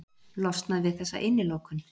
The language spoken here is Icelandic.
Losnað við þessa innilokun.